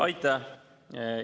Aitäh!